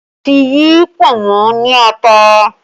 Mo ti yí pọ̀nmọ́ ní ata